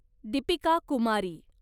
Deepika Kumari